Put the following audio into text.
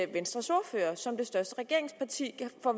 venstres ordfører som det største regeringsparti